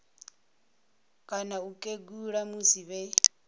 kana u kegula musi vhe